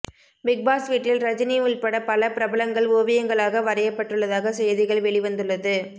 Bigg Boss வீட்டில் ரஜினி உள்பட பல பிரபலங்கள் ஓவியங்களாக வரையப்பட்டுள்ளதாக செய்திகள் வெளிவந்துள்ளது